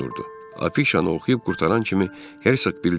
Afişanı oxuyub qurtaran kimi Hersoq bildirdi ki,